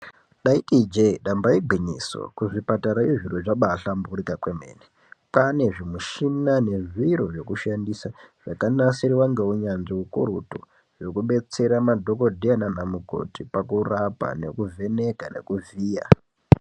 Ndaiti ijee damba igwinyiso, kuzvipatara izvo kwaba hlamburika kwemene, kwane zvimushina nezviro zvekushandisa zvakanasirwa ngeunyanzvi ukurutu zvekubetsera madhokodheya nanamukhoti kurapa nekuvheneka nekuvhiya.